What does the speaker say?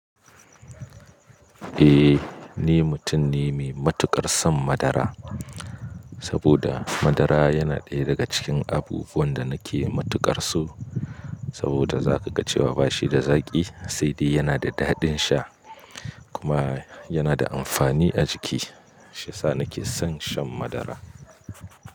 Eh, ni mutum ne mai matuƙar son madara, saboda madara yana ɗaya daga cikin abubuwan da nake matuƙar so. Saboda za ka ga cewa bashi da zaƙi sai dai yana da daɗin sha kuma yana da amfani a jiki. Shiyasa nake son shan madara.